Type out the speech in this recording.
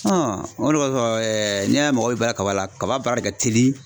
o de kɔsɔn n'i y'a ye mɔgɔw bɛ balan kaba la kaba baara de ka teli.